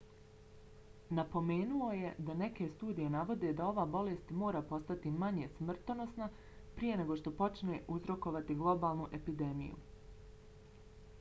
napomenuo je da neke studije navode da ova bolest mora postati manje smrtonosna prije nego što može uzrokovati globalnu epidemiju